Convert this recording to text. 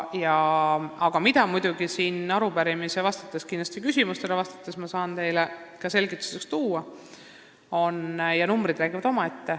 Aga ma saan teile siin arupärimisele ja teie küsimustele vastates tuua selgituseks numbreid, mis räägivad enda eest.